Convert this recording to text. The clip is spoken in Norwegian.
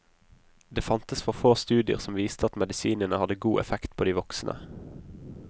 Det fantes for få studier som viste at medisinene hadde god effekt på voksne.